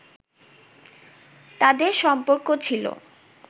তাঁদের সম্পর্ক ছিল